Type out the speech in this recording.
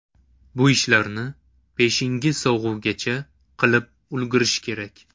Bu ishlarni peshingi sog‘uvgacha qilib ulgurish kerak.